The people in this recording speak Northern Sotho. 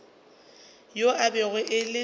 yo e bego e le